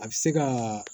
A bɛ se ka